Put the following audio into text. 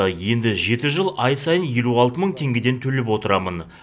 енді жеті жыл ай сайын елу алты мың теңгеден төлеп отырамын